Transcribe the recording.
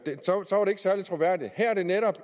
særlig troværdigt her er det netop